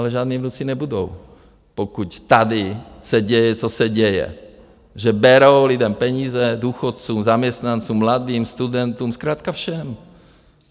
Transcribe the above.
Ale žádní vnuci nebudou, pokud tady se děje, co se děje, že berou lidem peníze, důchodcům, zaměstnancům, mladým, studentům, zkrátka všem!